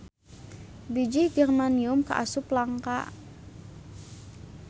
Bijih germanium kaasup langka.